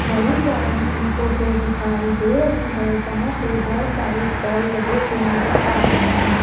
Marriage garden की photo दिखाई दे रही है जहां पे बहुत सारे स्टॉल लगे हुए नज़र आ रहे हैं।